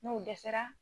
N'o dɛsɛra